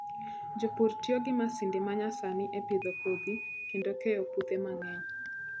Jopur tiyo gi masinde ma nyasani e pidho kodhi kendo keyo puothe mang'eny.